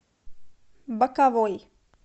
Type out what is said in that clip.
боковой